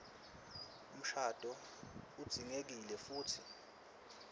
mshado udzingekile futsi